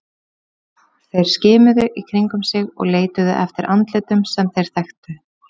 Þeir skimuðu í kringum sig og leituðu eftir andlitum sem þeir þekktu.